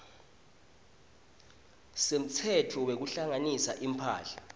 semtsetfo wekuhlanganisa imphahla